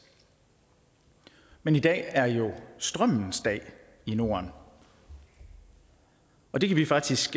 men i dag er jo strømmens dag i norden og det kan vi faktisk